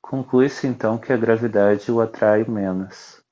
conclui-se então que a gravidade o atrai menos